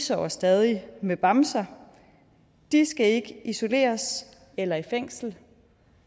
sover stadig med bamser og de skal ikke isoleres eller i fængsel